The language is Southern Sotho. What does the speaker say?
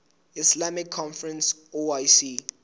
islamic conference oic